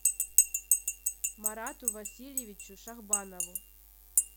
марату васильевичу шахбанову